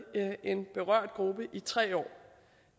en berørt gruppe i tre år